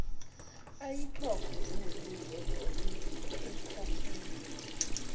ayikhokhe njengomnikelo ekhokhela